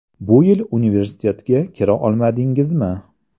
Bu yil universitetga kira olmadingizmi?